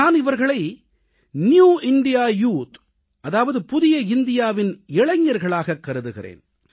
நான் இவர்களை new India youth அதாவது புதிய இந்தியாவின் இளைஞர்களாகக் கருதுகிறேன்